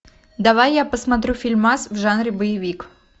давай я посмотрю фильмас в жанре боевик